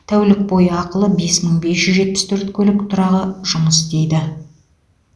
тәулік бойы ақылы бес мың бес жүз жетпіс төрт көлік тұрағы жұмыс істейді